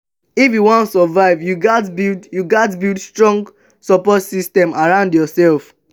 if you wan survive you gats build you gats build strong support system around yoursef.